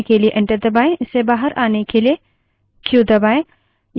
इससे बाहर आने के लिए क्यू दबायें